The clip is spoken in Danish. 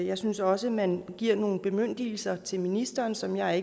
jeg synes også man giver nogle bemyndigelser til ministeren som jeg